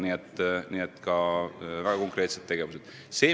Nii et on ka väga konkreetseid tegevusi.